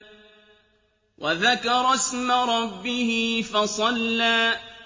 وَذَكَرَ اسْمَ رَبِّهِ فَصَلَّىٰ